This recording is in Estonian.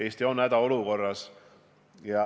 Eesti on hädaolukorras.